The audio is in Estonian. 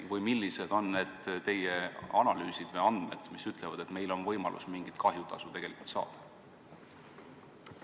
Või millised on teie analüüsid või andmed, mis ütlevad, et meil on võimalus mingisugust kahjutasu ka tegelikult saada?